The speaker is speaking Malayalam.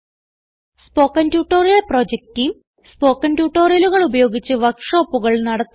spoken tutorial project team spoken ട്യൂട്ടോറിയലുകൾ ഉപയോഗിച്ച് വർക്ക് ഷോപ്പുകൾ നടത്തുന്നു